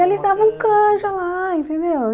E eles davam canja lá, entendeu?